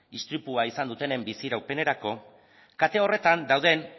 istripua izan dutenen bizi iraupenerako kate horretan dauden